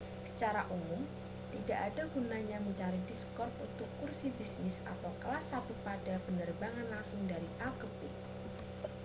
secara umum tidak ada gunanya mencari diskon untuk kursi bisnis atau kelas satu pada penerbangan langsung dari a ke b